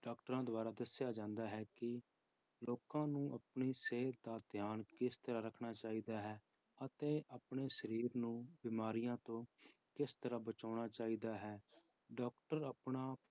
Doctors ਦੁਆਰਾ ਦੱਸਿਆ ਜਾਂਦਾ ਹੈ ਕਿ ਲੋਕਾਂ ਨੂੰ ਆਪਣੀ ਸਿਹਤ ਦਾ ਧਿਆਨ ਕਿਸ ਤਰ੍ਹਾਂ ਰੱਖਣਾ ਚਾਹੀਦਾ ਹੈ, ਅਤੇ ਆਪਣੇ ਸਰੀਰ ਨੂੰ ਬਿਮਾਰੀਆਂ ਤੋਂ ਕਿਸ ਤਰ੍ਹਾਂ ਬਚਾਉਣਾ ਚਾਹੀਦਾ ਹੈ doctor ਆਪਣਾ